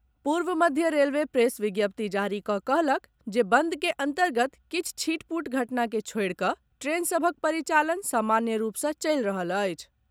पूर्व मध्य railway press विज्ञप्ति जारी कऽ कहलक जे बंद के अन्तर्गत किछु छिटपुट घटना के छोड़ि कऽ ट्रेन सभक परिचालन सामान्य रूप सँ चलि रहल अछि।